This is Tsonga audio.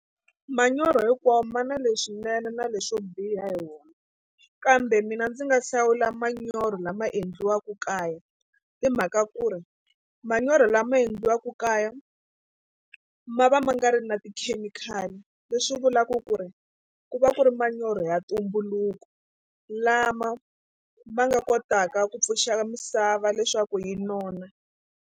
Manyoro hinkwawo ma na leswinene na leswo biha hi wona kambe mina ndzi nga hlawula manyoro lama endliwaka kaya hi mhaka ku ri manyoro lama endliwaka kaya ma va ma nga ri na tikhemikhali leswi vulaku ku ri ku va ku ri manyoro ya ntumbuluko lama ma nga kotaka ku pfuxa misava leswaku yi nona.